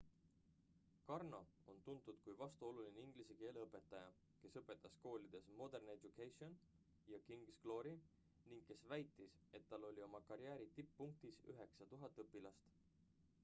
karno on tuntud kuid vastuoluline inglise keele õpetaja kes õpetas koolides modern education ja king's glory ning kes väitis et tal oli oma karjääri tipppunktis 9000 õpilast